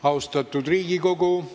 Austatud Riigikogu!